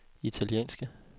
italienske